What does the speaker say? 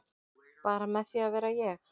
Bara með því að vera ég